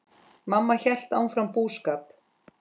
Mamma hélt áfram búskap.